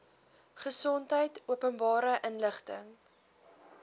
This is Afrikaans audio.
gesondheid openbare inligting